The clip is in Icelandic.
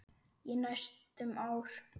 Í næstum ár.